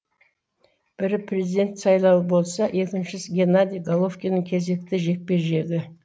бірі президент сайлауы болса екіншісі генадий головкиннің кезекті жекпе жегі